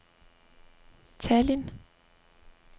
Tallinn